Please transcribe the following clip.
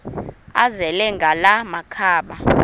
azele ngala makhaba